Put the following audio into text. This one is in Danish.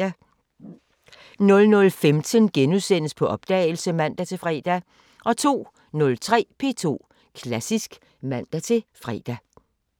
00:15: På opdagelse *(man-fre) 02:03: P2 Klassisk (man-fre)